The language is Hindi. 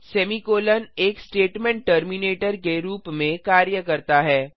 सेमीकोलों एक स्टेटमेंट टर्मिनेटर के रूप में कार्य करता है